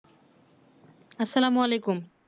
আসসালামুয়ালাইকুম